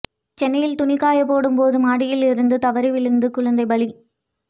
சென்னையில் துணி காயப்போடும் போது மாடியிலிருந்து தவறி விழுந்து குழந்தை பலி